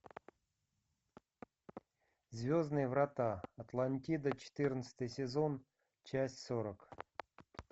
звездные врата атлантида четырнадцатый сезон часть сорок